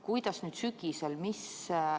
Kuidas nüüd sügisel on?